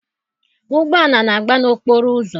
Ụgbọala na-agba n'okporo ụzọ.